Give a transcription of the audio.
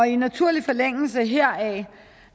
i naturlig forlængelse heraf